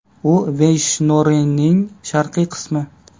U Veyshnoriyaning sharqiy qismi.